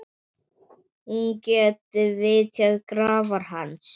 Hún geti vitjað grafar hans.